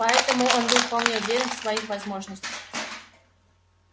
поэтому он был вполне уверен в своих возможностях